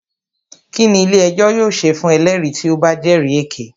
Kínní ilé ẹjọ́ yóò ṣe fún ẹlẹ́rìí tí o bá jẹ́rì èké?